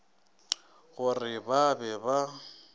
go re ba be ba